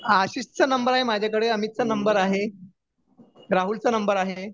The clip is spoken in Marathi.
आशिष चा नंबर आहे माझ्याकडे अमितचा नंबर आहे राहुल चा नंबर आहे